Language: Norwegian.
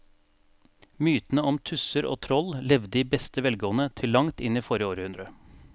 Mytene om tusser og troll levde i beste velgående til langt inn i forrige århundre.